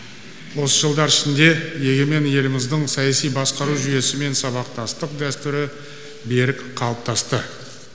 осы жылдар ішінде егемен еліміздің саяси басқару жүйесімен сабақтастық дәстүрі берік қалыптасты